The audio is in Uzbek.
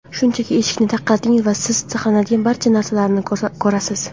Shunchaki eshikni taqillating va siz saqlanadigan barcha narsalarni ko‘rasiz!